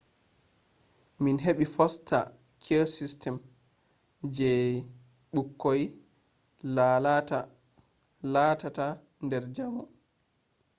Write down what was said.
min heɓi foster care system je ɓukkoi la tata der jamo